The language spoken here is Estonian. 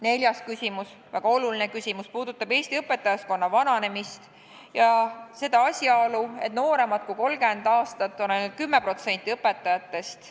Neljas küsimus, väga oluline küsimus, puudutab Eesti õpetajaskonna vananemist, sh asjaolu, et nooremad kui 30 aastat on ainult 10% õpetajatest.